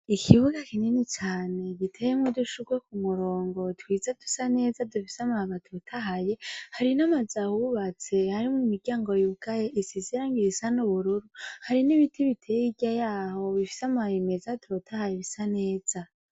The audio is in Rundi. Ikibuga kinini cane kiteyemwo udushurwe kumurongo twiza dusa neza dufise amababi atotaye hari namazu ahubatse harimwo nimiryango yugaye isizemwo irangi risa nubururu hari nibiti biteyemwo hirya hayo bifise amababi atotaye asa neza